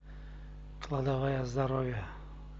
кладовая здоровья